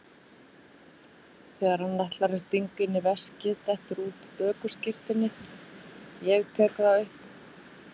Þegar hann ætlar að stinga henni í veskið dettur út ökuskírteinið, ég tek það upp.